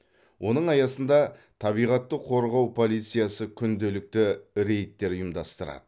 оның аясында табиғатты қорғау полициясы күнделікті рейдтер ұйымдастырады